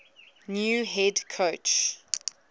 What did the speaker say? new head coach